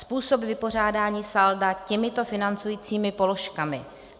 Způsob vypořádání salda těmito financujícími položkami: